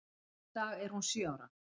Í dag er hún sjö ára.